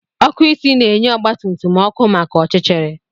Ọkụ isi na-enye ọgba tum tum ọkụ maka ọchịchịrị